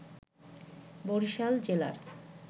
বরিশাল জেলার